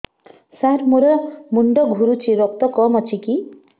ସାର ମୋର ମୁଣ୍ଡ ଘୁରୁଛି ରକ୍ତ କମ ଅଛି କି